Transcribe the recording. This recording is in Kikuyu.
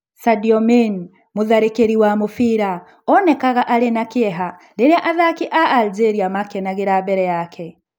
Sadio Mane, mũtharĩkĩri wa mũbira, onekaga arĩ na kĩeha. Rĩrĩa athaki a Algeria makenagira mbere yake.